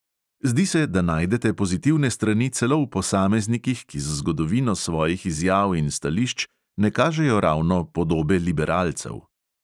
Zdi se, da najdete pozitivne strani celo v posameznikih, ki z zgodovino svojih izjav in stališč ne kažejo ravno podobe liberalcev.